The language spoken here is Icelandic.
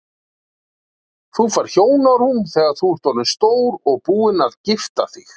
Þú færð hjónarúm þegar þú ert orðinn stór og búinn að gifta þig.